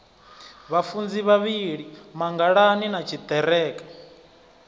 vhafunzi vhavhili mangalani na tshiḓereke